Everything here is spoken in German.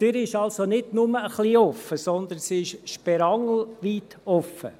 Die Tür ist also nicht nur ein wenig offen, sondern sie ist sperrangelweit offen.